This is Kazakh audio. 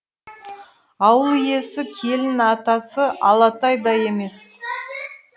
ауыл иесі келін атасы алатай да емес